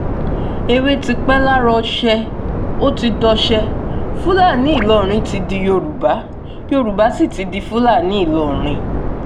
èwe ti pẹ́ lára ọ̀sẹ̀ ó ti dọṣẹ́ fúlàní ìlọrin ti di yorùbá yorùbá sì ti di fúlàní ìlọrin